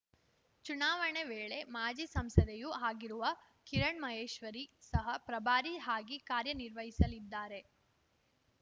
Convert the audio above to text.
ಚುನಾವಣೆ ವೇಳೆ ಮಾಜಿ ಸಂಸದೆಯೂ ಆಗಿರುವ ಕಿರಣ್‌ ಮಹೇಶ್ವರಿ ಸಹ ಪ್ರಭಾರಿ ಹಾಗಿ ಕಾರ್ಯ ನಿರ್ವಹಿಸಲಿದ್ದಾರೆ